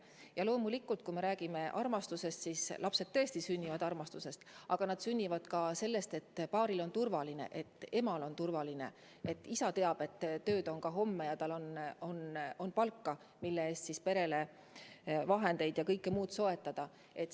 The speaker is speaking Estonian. Jah, loomulikult, kui me räägime armastusest, siis lapsed tõesti sünnivad armastusest, aga nad sünnivad ka tänu sellele, et paar tunneb end turvaliselt: et ema tunneb end turvaliselt, et isa teab, et tööd on ka homme ja ta saab palka, mille eest perele kõike vajalikku soetada.